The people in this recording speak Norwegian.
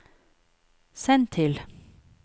send til